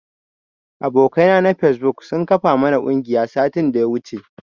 Abokai na na fesbuk sun kafa mana ƙungiya satin daya wuce.